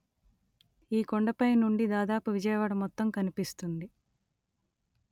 ఈ కొండపై నుండి దాదాపు విజయవాడ మొత్తం కనిపిస్తుంది